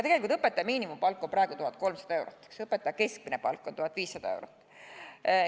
Tegelikult on õpetaja miinimumpalk praegu 1300 eurot, õpetaja keskmine palk on 1500 eurot.